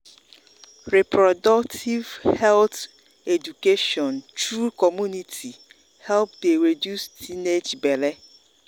reproductive health education through community help dey reduce teenage belle.